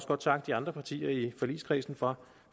godt takke de andre partier i forligskredsen for